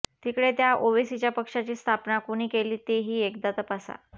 तिकडे त्या ओवेसीच्या पक्षाची स्थापना कुणी केली तेही एकदा तपासा